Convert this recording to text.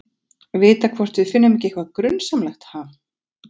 Vita hvort við finnum ekki eitthvað grunsamlegt, ha?